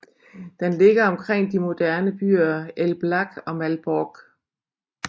Den ligger omkring de moderne byer Elbląg og Malbork